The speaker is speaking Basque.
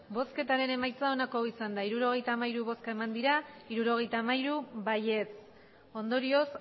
emandako botoak hirurogeita hamairu bai hirurogeita hamairu ondorioz